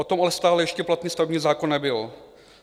O tom ale stále ještě platný stavební zákon nebyl.